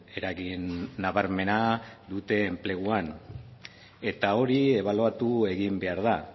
eragin nabarmena dute enpleguan eta hori ebaluatu egin behar da